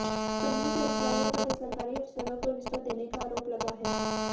company के अधिकारियों पर सरकारी अफसरों को रिश्वत देने का आरोप लगा है